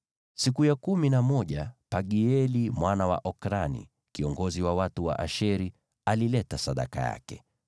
Siku ya kumi na moja Pagieli mwana wa Okrani, kiongozi wa watu wa Asheri, alileta sadaka yake.